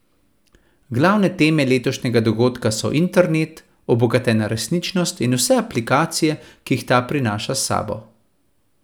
Glavne teme letošnjega dogodka so internet, obogatena resničnost in vse aplikacije, ki jih ta prinaša s sabo.